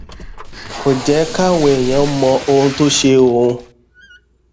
kò jé káwọn èèyàn mọ ohun tó ń ṣe òun